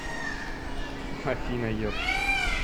афина епт